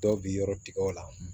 Dɔw bɛ yɔrɔ tigɛ o la